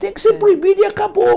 Tem que ser proibido e acabou.